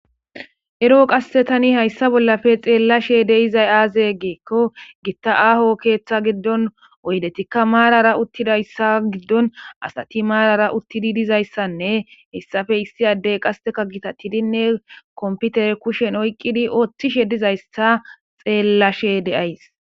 ero qasse tani hayssa bollafe xeellashe deizay aaze geekko gitta aaho keeththa giddon oydetikka maarara uttidayssa giddon asati maarara uttidi dizayssanne hessafe issi addey qasteka gitattidinne komputer kushen oyqqidi ooththishe dizayssa xeellashe deays